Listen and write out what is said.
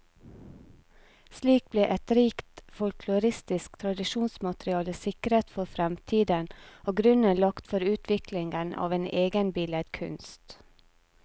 Slik ble et rikt folkloristisk tradisjonsmateriale sikret for fremtiden, og grunnen lagt for utviklingen av en egen billedkunst.